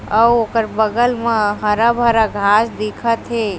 अऊ ओकर बगल म हरा-भरा घाँस दिखा थे।